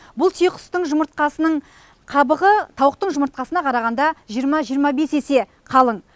бұл түйеқұстың жұмыртқасының қабығы тауықтың жұмыртқасына қарағанда жиырма жиырма бес есе қалың